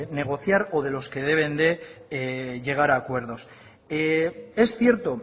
negociar o de los que deben de llegar a acuerdos es cierto